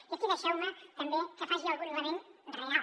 i aquí deixeu me també que faci algun lament real